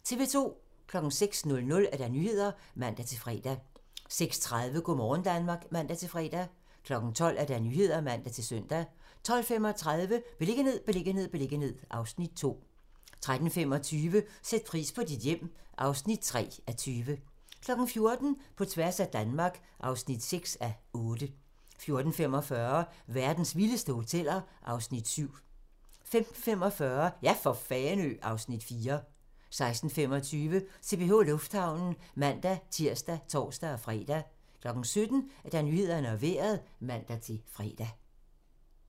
06:00: Nyhederne (man-fre) 06:30: Go' morgen Danmark (man-fre) 12:00: Nyhederne (man-søn) 12:35: Beliggenhed, beliggenhed, beliggenhed (Afs. 2) 13:25: Sæt pris på dit hjem (3:20) 14:00: På tværs af Danmark (6:8) 14:45: Verdens vildeste hoteller (Afs. 7) 15:45: Ja for Fanø! (Afs. 4) 16:25: CPH Lufthavnen (man-tir og tor-fre) 17:00: Nyhederne og Vejret (man-fre)